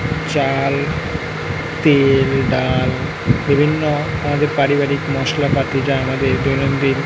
চাল তেল ডাল বিভিন্ন আমাদের পারিবারিক মসলাপাতি যা আমাদের দৈনদিন --